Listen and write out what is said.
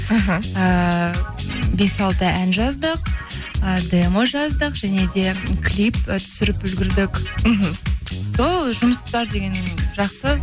іхі ііі бес алты ән жаздық і демо жаздық және де клип і түсіріп үлгердік мхм сол жұмыстар деген жақсы